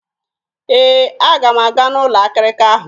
Ee, aga m aga n'ụlọ akịrịka ahụ.